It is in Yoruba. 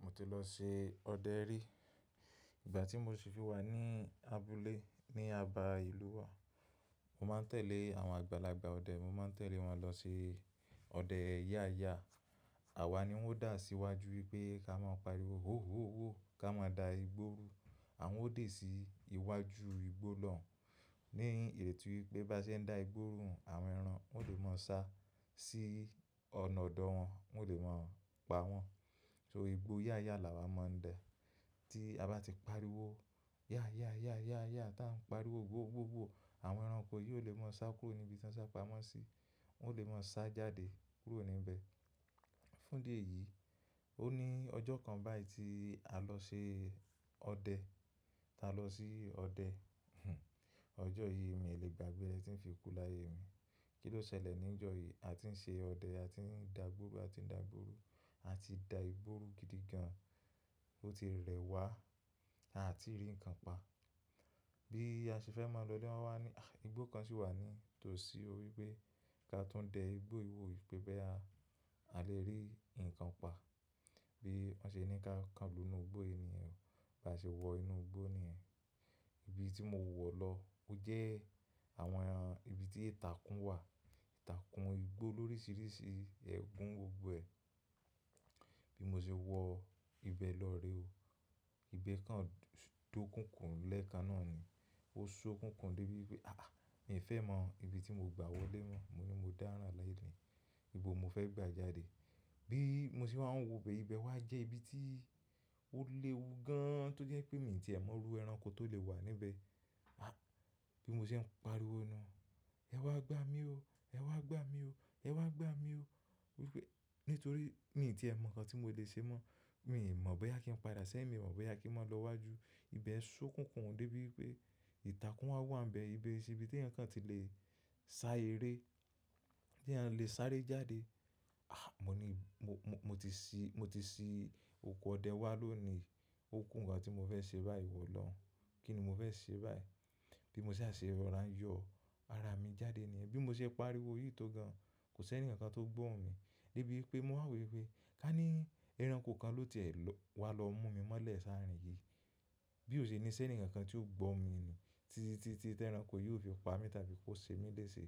Mo ti lọ ṣe ọdẹ rí. Ìgbà tí mo ṣe fi wà ní abúlé ní Aba ìlú wa, mo máa ń tẹ̀lé àwọn àgbàlagbà ọdẹ, mo máa ń tẹ̀lé wọn lọ ṣe ọdẹ ya ya. Àwa ni wón dá síwájú wípé ká máa pariwo "hó hó hó" ká máa da igbó rú. Àwọn ó dè sí iwájú igbó lọ ní ìrètí wípé bá ṣe ń da igbó rú, àwọn ẹran wọn yóò lè máa sá sí ọ̀nà ọ̀dọ̀ wọn, wọn yóò lè máa pa wọ́n. So igbó ya ya là wá máa ń dẹ. Tí a bá ti pariwo ya ya ya ya ya tá ń pariwo hó hó hó hó, àwọn ẹranko yóò lè máa sá kúrò níbi tí wọ́n sá pamọ́ sí, wón lè máa sá jáde kúrò níbẹ̀. Fún dì èyìí, ó ní ọjọ́ kan báyìí tí a lọ ṣe ọdẹ, tá lọ sí ọdẹ ọjọ́ yìí mi lè gbà gbé rẹ tìn fi kú láyé mi. Kí ló ṣẹlẹ̀ ní ọjọ́ yìí? A ti ń ṣe ọdẹ, a ti ń da gbóru, a ti ń da gbóru, a ti da igbó rú gidi gan. Ó ti rẹwà, àá tí rí nǹkan pa. Bí a ṣe fẹ́ máa lọlé lán wá ní, àí, igbó kan sì wà ní tòsí, ó wípé ká tún dẹ igbó i wò wípé bóyá a lè rí ǹkan pa. Bí wọ́n ṣe ní ká kan lónù igbó i níyẹn, bá ṣe wọ inú igbó nìyẹn. Ibi tí mo wọ̀ lọ ó jẹ́ àwọn ẹran, ibi tí ìtàkùn wà, ìtàkùn igbó lóríṣiríṣi ẹ̀gún gbogbo ẹ. Bí mo ṣe wọ ibẹ̀ lọ rè o. Ibẹ̀ kan dọ́kùnkùn lẹ́ẹ̀kan náà ni. Ó ṣókùn kùn dé bí wípé àáà, mi ò fẹ́ mọ ibi tí mo gbà wọlé mọ́. Mo ní mo dára láyé mi, ibo mo fẹ́ gbé àjàdí. Bí mo ṣe máa ń wọ ibẹ̀, ibẹ̀ wá jẹ́ ibi tí ó léwu gán, tó jẹ́ pé mi tiẹ̀ mọrú ẹranko tó lè wà níbẹ̀. Bí mo ṣe ń pariwo núú, ẹ wá gbá mi o, ẹ wá gbá mi o, ẹ wá gbá mi o. Wípé nítorí mi tiẹ̀ mọ ǹkan tí mo lè ṣe mọ́. Mi ì mọ̀ bóyá kí n padà sẹ́yìn, mi ò mọ̀ bóyá kí n máa lọ wájú. Ibẹ̀ ṣókùn kùn dé bí wípé ìtàkùn wá wà nbẹ̀. Ibẹ̀ sì ibi tí ẹ̀yàn kan ti lè sá eré, tí ẹ̀yàn le sáré jáde. Àh! Mo ní mo, mo ti sí, mo ti sí oko ọdẹ wá lónìí, ó kùǹ ǹkan tí mo fẹ́ ṣe báyìí ìwò olọ́ùn. Kí ni mo fẹ́ ṣe báyìí? Bí mo ṣá ṣe rọ̀rá ń yọ ara mi jáde níyẹn, bí mo ṣe pariwo yìí tó gan, kò sí ẹnìkan kan tó gbọ́hun mi. Dé bí pé mo wà wò wípé ká ní ẹranko kan ló tiẹ̀ wà lọ mú mi mọ́lẹ̀ s'árìn yìí. Bí ò ṣe ní ṣé ǹikan kan tí ó gbó mi ni. Títí, tí, tí ẹranko yóò fi pa mí tàbí kó ṣe mí léṣe.